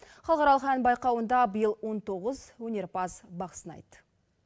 халықаралық ән байқауында биыл он тоғыз өнерпаз бақ сынайды